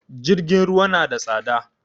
Jirgin ruwa na da tsada